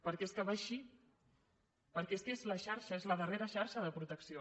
perquè és que va així perquè és que és la xarxa és la darrera xarxa de protecció